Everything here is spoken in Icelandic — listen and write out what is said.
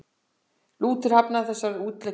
Lúther hafnaði þessari útleggingu.